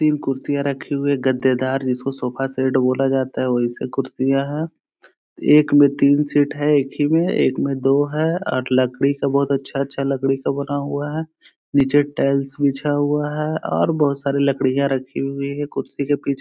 तीन कुर्सियां रखी हुई है गद्दे दार जिसको सोफा सेट बोला जाता है वैसे कुर्सियां है एक में तीन सीट है एक ही में एक में दो है और लकड़ी का बोहोत अच्छा अच्छा लकड़ी का बना हुआ है नीचे टाइल्स बिछा हुआ है और बोहोत सारी लकड़ियां रखी हुई है कुर्सी के पीछे।